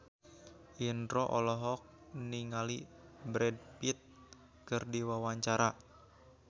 Indro olohok ningali Brad Pitt keur diwawancara